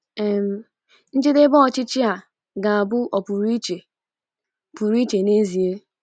um njedebe ọchịchị a ga-abụ ọ pụrụ iche pụrụ iche n’ezie.